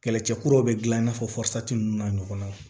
Kɛlɛcɛ kuraw be gilan i n'a fɔ nunnu n'a ɲɔgɔnnaw